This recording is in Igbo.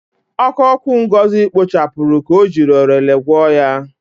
Oko oku Ngozi kpochapụrụ ka o jiri orele gwuoo ya.